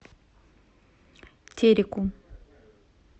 тереку